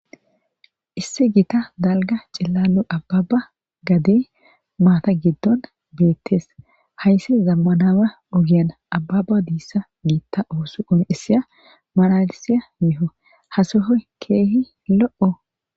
issi gita dalga cillalo ababa gade maata giddon beettes haysse zammanama ogiyan ababa diissa giitta oosuqon issiya maralisiya miho hasohoy keehi lo7o